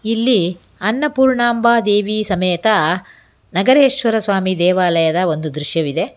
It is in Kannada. ಇಲ್ಲಿ ಅನ್ನಪೂರ್ಣಾಂಬ ದೇವಿ ಸಮೇತ ನಗರೇಶ್ವರ ಸ್ವಾಮಿ ದೇವಾಲಯದ ಒಂದು ದೃಶ್ಯವಿದೆ.